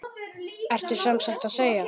Ertu sem sagt að segja.